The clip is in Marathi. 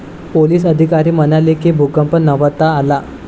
पोलिस अधिकारी म्हणाले की, भूकंप नव्हता आला.